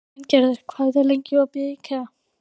Sveingerður, hvað er lengi opið í IKEA?